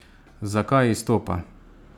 Zakaj izstopa?